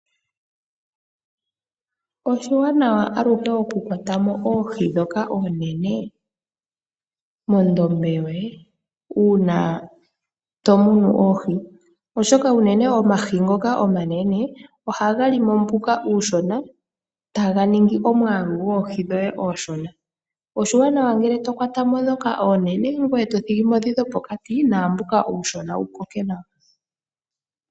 Oshiwanawa aluhe okukwata mo oohi ndhoka oonene mondombe yoye uuna tomunu oohi. Oshoka uneñe omahi ngoka omanene ohaga li mo mbuka uushona, taga ningi omwaalu gwoohi dhoye omushona. Oshiwanawa ngele tokwata mo ndhoka oonene e to thigi mo ndhoka dhopokati naambuka uunshona wukoke nawa.